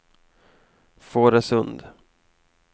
Fårösund